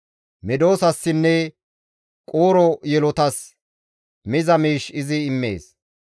Medosassinne quuro yelotas miza miish izi immees.